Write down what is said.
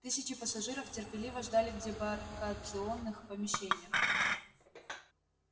тысячи пассажиров терпеливо ждали в дебаркационных помещениях